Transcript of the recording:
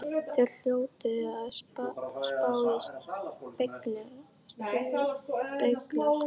Þeir hljóta að spá og spekúlera!